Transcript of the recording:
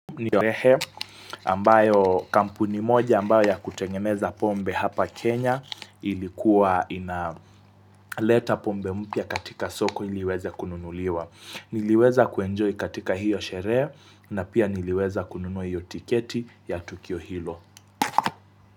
Niorehe, ambayo kampuni moja, ambayo ya kutengemeza pombe hapa Kenya, ilikuwa ina leta pombe mpya katika soko iweze kununuliwa. Niliweza kuenjoy katika hiyo shere, na pia ni liweza kununui hiyo tiketi ya tukio hilo.